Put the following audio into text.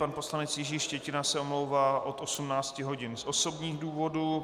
Pan poslanec Jiří Štětina se omlouvá od 18 hodin z osobních důvodů.